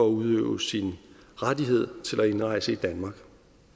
at udøve sin rettighed til at indrejse i danmark